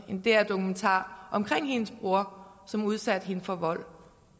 en dr dokumentar om hendes bror som udsatte hende for vold